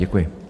Děkuji.